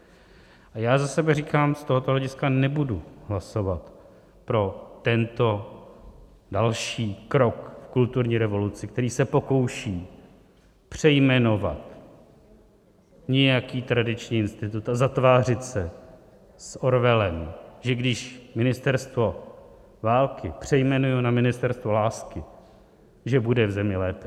A já za sebe říkám, z tohoto hlediska nebudu hlasovat pro tento další krok v kulturní revoluci, který se pokouší přejmenovat nějaký tradiční institut a zatvářit se s Orwellem, že když Ministerstvo války přejmenuji na Ministerstvo lásky, že bude v zemi lépe.